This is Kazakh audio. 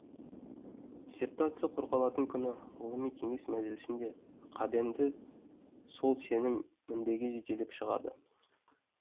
диссертация қорғалатын күні ғылыми кеңес мәжілісінде қабенді сол сенім мінбеге жетелеп шығады